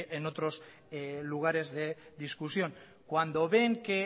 otros lugares de discusión cuando ven que